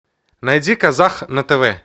найди казах на тв